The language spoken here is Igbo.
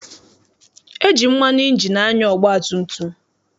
E ji mmanụ ịnjini anya ọgbatumtum.